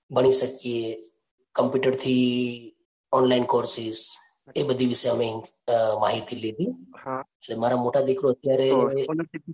બની શકીએ. કમ્પ્યુટર થી online courses એ બધી વિશે અમે અ માહિતી લીધી. મારા મોટો દીકરો અત્યારે